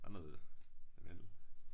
Der er noget lavendel